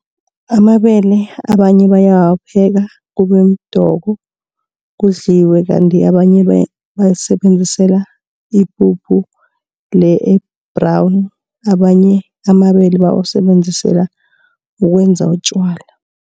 Amabele abanye bayawapheka kube mdoko kudliwe. Kandt abanye bawasebenzisela ipuphu le e-brown. Abanye amabele bawusebenzisela ukwenza utjwala.